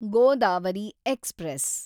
Godavari express